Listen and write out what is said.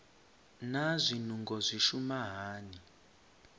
naa zwinungo zwi shuma hani